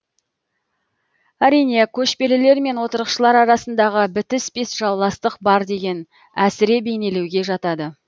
әрине көшпелілер мен отырықшылар арасындағы бітіспес жауластық бар деген әсіре бейнелеуге жатады